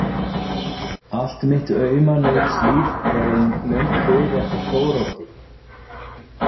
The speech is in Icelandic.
Allt mitt auma nautslíf er ein löng bið eftir Þóroddi.